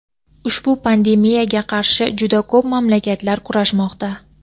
Ushbu pandemiyaga qarshi juda ko‘p mamlakatlar kurashmoqda.